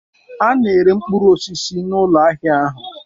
A na-ere mkpụrụ osisi n'ụlọ ahịa ahụ.